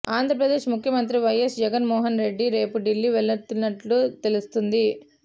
ఆంధ్రప్రదేశ్ ముఖ్యమంత్రి వైఎస్ జగన్ మోహన్ రెడ్డి రేపు ఢిల్లీ వెళ్లనున్నట్లు తెలుస్తోంది